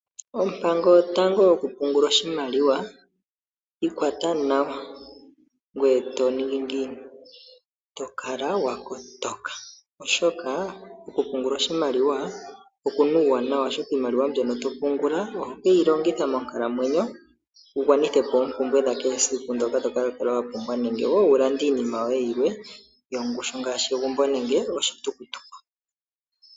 Ompango yotango yokupungula oshimaliwa ikwata nawa, ngoye tokala wakotoka oshoka okupungula oshimaliwa okuna uuwanawa oshoka iimaliwa mbyono to pungula oho keyi longitha monkalamwenyo ugwanithepo oompumbwe dha kehe esiku ndhoka tokala wa pumbwa nenge woo ulande iinima yoye yi ili yongushu ngaashi egumbo noshowo oshitulutuku